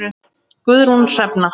Guðrún Hrefna.